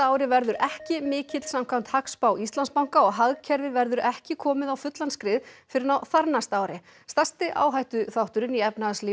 ári verður ekki mikill samkvæmt hagspá Íslandsbanka og hagkerfið verður ekki komið á fullan skrið fyrr en á þarnæsta ári stærsti áhættuþátturinn í